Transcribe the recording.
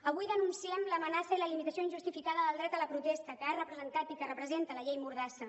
avui denunciem l’amenaça i la limitació injustificada del dret a la protesta que ha representat i que representa la llei mordassa